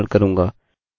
यह root है